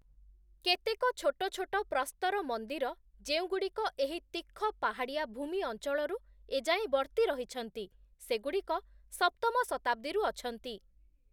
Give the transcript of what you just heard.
କେତେକ ଛୋଟ ଛୋଟ ପ୍ରସ୍ତର ମନ୍ଦିର, ଯେଉଁଗୁଡ଼ିକ ଏହି ତୀଖ ପାହାଡ଼ିଆ ଭୂମି ଅଞ୍ଚଳରୁ ଏଯାଏଁ ବର୍ତ୍ତିରହିଛନ୍ତି, ସେଗୁଡ଼ିକ ସପ୍ତମ ଶତାବ୍ଦୀରୁ ଅଛନ୍ତି ।